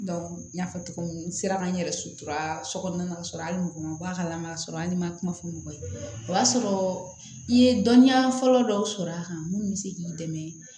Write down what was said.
n y'a fɔ cogo min n sera ka n yɛrɛ sutura sokɔnɔna la hali n'u ma balama sɔrɔ hali n'i ma kuma fɔ mɔgɔ ye o y'a sɔrɔ i ye dɔnniya fɔlɔ dɔw sɔrɔ a kan mun bɛ se k'i dɛmɛ